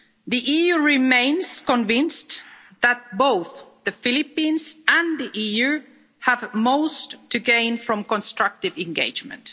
The EU remains convinced that both the Philippines and the EU have most to gain from constructive engagement.